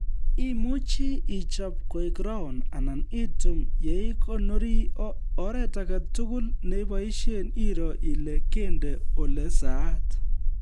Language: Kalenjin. Imuchi ichob koek round anan itum yeikonori ,oret age tugul neiboisie iroo ile kende olesaat